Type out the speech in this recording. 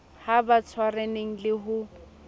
ha ba tshwaraneng le ho